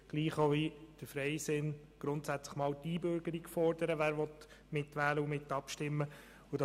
Gleich wie der Freisinn fordern auch wir grundsätzlich einmal die Einbürgerung für diejenigen, welche mitwählen und -abstimmen möchten.